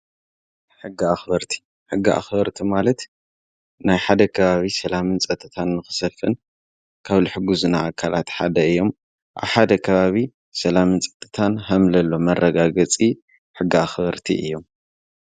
ሕጊ ኣኽበርቲ፡- ሕጊ ኣኽበርቲ ማለት ናይ ሓደ ከባቢ ሰላምን ፀጥታን ንክሰፍን ካብ ልሕጉዝና ኣካላት ሓደ እዮም፡፡ ኣብ ሓደ ካባቢ ሰላም ንፀጥታን ሃምለሎ መረጋገፂ ሕጊ ኣኽበርቲ እዮም፡፡